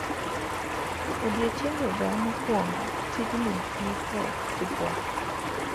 Odiechiengega mokuongo, tijni ne tek sipuap.